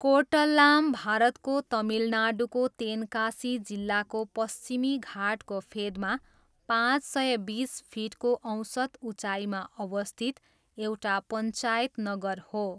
कोर्टल्लाम भारतको तमिलनाडुको तेन्कासी जिल्लाको पश्चिमी घाटको फेदमा पाँच सय बिस फिटको औसत उचाइमा अवस्थित एउटा पञ्चायत नगर हो।